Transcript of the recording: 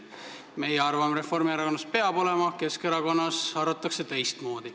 Meie arvame Reformierakonnas, et peab olema, Keskerakonnas arvatakse teistmoodi.